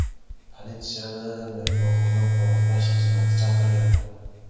Politsiyani mehmonxona qo‘riqlash xizmati chaqirgan.